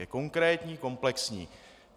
Je konkrétní, komplexní.